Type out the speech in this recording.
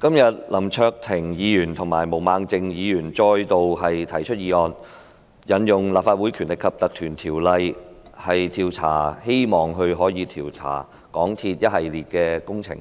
今天林卓廷議員及毛孟靜議員再度提出議案，希望可以引用《立法會條例》，調查香港鐵路有限公司